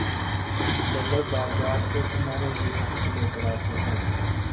चलो बाज़ार से तुम्हारे लिए कुछ लेकर आते हैं